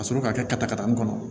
Ka sɔrɔ ka kɛ katatakata nin kɔnɔ